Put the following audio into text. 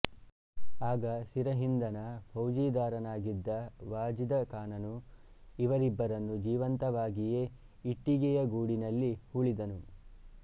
ಆಗ ಸಿರಹಿಂದನ ಫೌಜದಾರನಾಗಿದ್ದ ವಾಜಿದ ಖಾನನು ಇವರಿಬ್ಬರನ್ನು ಜೀವಂತವಾಗಿಯೇ ಇಟ್ಟಿಗೆಯ ಗೋಡಿನಲ್ಲಿ ಹೂಳಿದನು